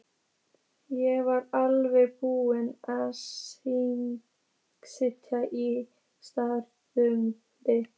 Ég var alveg búinn að sigla í strand.